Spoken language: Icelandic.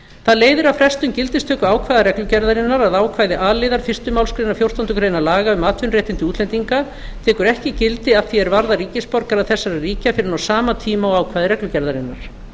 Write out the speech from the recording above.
það leiðir af frestun gildistöku ákvæða reglugerðarinnar að ákvæði a liðar fyrstu málsgrein fjórtándu grein laga um atvinnuréttindi útlendinga tekur ekki gildi að því er varðar ríkisborgara þessara ríkja fyrr en á sama tíma og ákvæði reglugerðarinnar